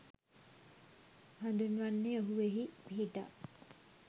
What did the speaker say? හඳුන්වන්නේ ඔහු එහි පිහිටා